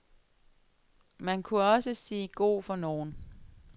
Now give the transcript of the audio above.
Man kunne også sige god for nogen.